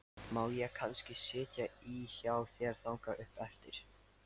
Má ég kannski sitja í hjá þér þangað upp eftir?